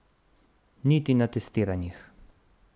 Niti na testiranjih.